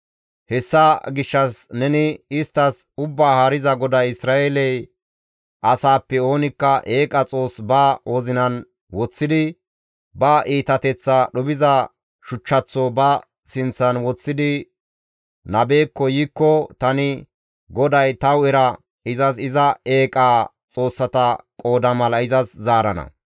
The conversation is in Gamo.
Hessa gishshas neni isttas, ‹Ubbaa Haariza GODAY Isra7eele asaappe oonikka eeqa xoos ba wozinan woththidi, ba iitateththaa dhuphiza shuchchaththo ba sinththan woththidi nabekko yiikko tani GODAY ta hu7era izas iza eeqa xoossata qooda mala izas zaarana.